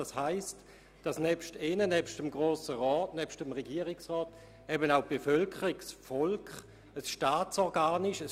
Es heisst, dass neben Ihnen, dem Grossen Rat, und neben dem Regierungsrat eben auch das Volk ein Staatsorgan ist.